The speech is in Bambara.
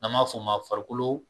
Na b'a fɔ' ma farikolo.